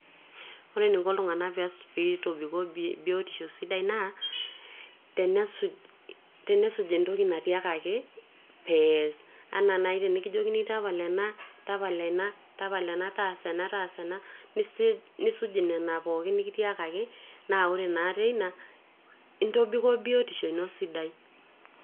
ore eniko iltung'anak pitobikoo biotisho sidai naa tenesuj, tenesuj entoki natiakaki pees enaa nai tenikijokini tapala ena, tapala ena taasa ena, taasa ena nisuj inena pookin nikitiakaki naa wore naa teina intobikoo biotisho ino sidai.